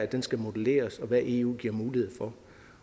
den skal modelleres i hvad eu giver mulighed for